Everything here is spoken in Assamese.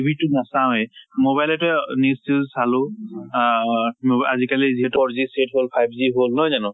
TV টো নাচাওয়ে । mobile তে news চিউচ চালো । আহ আজ কালি যিহেতু five g হল নহয় জানো?